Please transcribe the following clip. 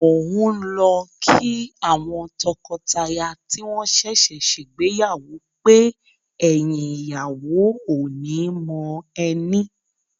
Mò ń lọ kí àwọn tọkọtaya tí wọ́n ṣẹ̀ṣẹ̀ ṣègbéyàwó pé, “ẹ̀yìn ìyàwó ò ní mọ ẹní”.